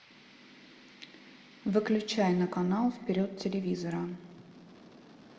выключай на канал вперед телевизора